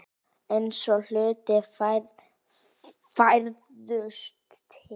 Eins og hlutir færðust til.